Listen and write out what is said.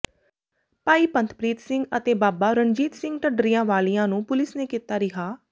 ਭਾਈ ਪੰਥਪ੍ਰੀਤ ਸਿੰਘ ਅਤੇ ਬਾਬਾ ਰਣਜੀਤ ਸਿੰਘ ਢੱਡਰੀਆਂ ਵਾਲ਼ਿਆਂ ਨੂੰ ਪੁਲਿਸ ਨੇ ਕੀਤਾ ਰਿਹਾਅ